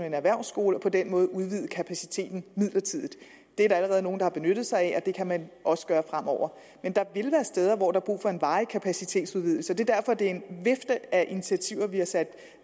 en erhvervsskole og på den måde udvide kapaciteten midlertidigt det er der allerede nogle der har benyttet sig af og det kan man også gøre fremover men der vil være steder hvor der er brug for en varig kapacitetsudvidelse det er derfor at det er en vifte af initiativer vi har sat